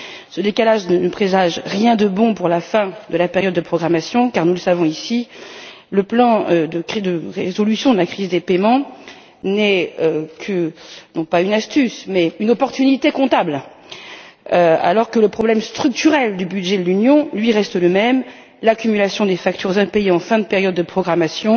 Ce décalage ne présage rien de bon pour la fin de la période de programmation car, nous le savons, le plan de résolution de la crise des paiements est non pas une astuce, mais une échappatoire comptable, alors que le problème structurel du budget de l'Union, lui, reste le même. L'accumulation des factures impayées en fin de période de programmation